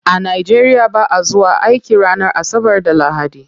A nigeria ba'a zuwa aiki ranar asabar da lahadi.